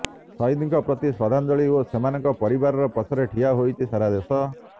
ସହିଦଙ୍କ ପ୍ରତି ଶ୍ରଦ୍ଧାଞ୍ଜଳି ଓ ସେମାନଙ୍କ ପରିବାର ପଛରେ ଠିଆ ହୋଇଛି ସାରା ଦେଶ